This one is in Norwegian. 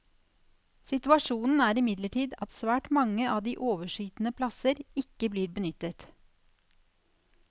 Situasjonen er imidlertid at svært mange av de overskytende plasser ikke blir benyttet.